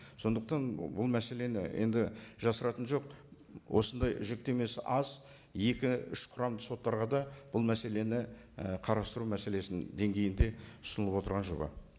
сондықтан бұл мәселені енді жасыратыны жоқ осындай жүктемесі аз екі үш құрамды соттарға да бұл мәселені і қарастыру мәселесін деңгейінде ұсынылып отырған жоба